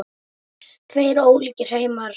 Tveir ólíkir heimar.